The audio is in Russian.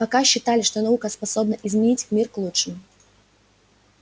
пока считали что наука способна изменить мир к лучшему